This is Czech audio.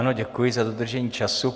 Ano, děkuji za dodržení času.